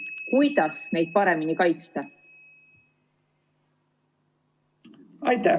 Kuidas neid paremini kaitsta?